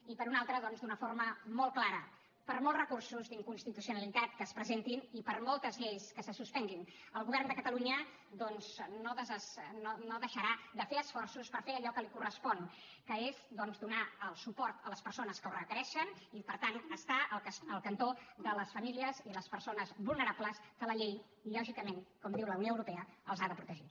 i per una altra doncs d’una forma molt clara per molts recursos d’inconstitucionalitat que es presentin i per moltes lleis que se suspenguin el govern de catalunya no deixarà de fer esforços per fer allò que li correspon que és doncs donar el suport a les persones que ho requereixen i per tant estar al cantó de les famílies i les persones vulnerables que la llei lògicament com diu la unió europea ha de protegir